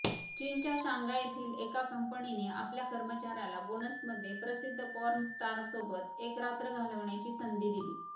चीनच्या शांघाय येथील एका कंपनीने आपल्या कर्मचाऱ्याला बोनसमध्ये प्रसिद्ध पॉर्नस्टारसोबत एक रात्र घालवण्याची संधी दिली